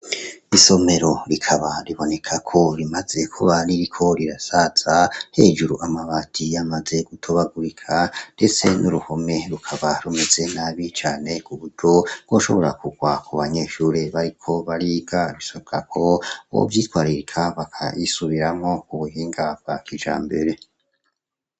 Isomero rikaba ribonekako rimazeko bariri ko rirasatsa hejuru amabati yamaze gutobagurika ndese n'uruhome rukaba rumeze nabicane ku bujo woshobora kugwa ku banyeshure bariko bariga risabako bovyitwaririka bakayisubiramo ku buhingabwa ca mbere.